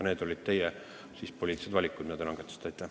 Need olid teie poliitilised valikud, mis te langetasite.